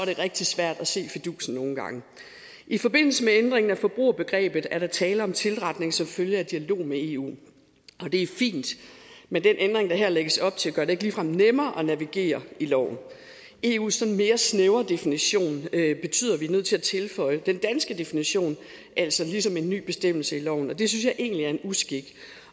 rigtig svært at se fidusen i forbindelse med ændringen af forbrugerbegrebet er der tale om tilretning som følge af dialog med eu og det er fint men den ændring der her lægges op til gør det ikke ligefrem nemmere at navigere i loven eus sådan mere snævre definition at vi er nødt til at tilføje den danske definition altså ligesom en ny bestemmelse i loven og det synes jeg egentlig er en uskik